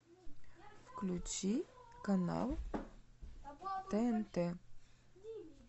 включи канал тнт